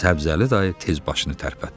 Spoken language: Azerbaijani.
Səbzəli dayı tez başını tərpətdi.